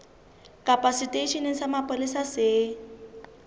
kapa seteisheneng sa mapolesa se